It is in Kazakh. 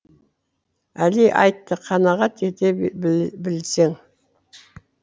әли айтты қанағат ете білсең